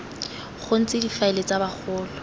go ntse difaele tsa bagolo